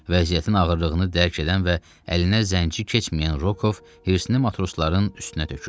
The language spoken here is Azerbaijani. Vəziyyətinin ağırlığını dərk edən və əlinə zənci keçməyən Rokov hirsini matrosların üstünə tökürdü.